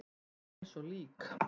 Hann var eins og lík.